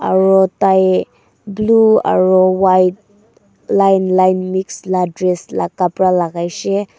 aro tai blue aro white line line mix la dress la khapra lagaishe.